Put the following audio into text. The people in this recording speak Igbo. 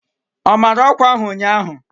O mere ọkwa ahụ ụnyahụ?